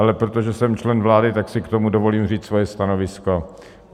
Ale protože jsem člen vlády, tak si k tomu dovolím říct svoje stanovisko.